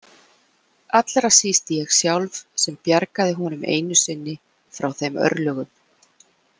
Allra síst ég sjálf sem bjargaði honum einu sinni frá þeim örlögum.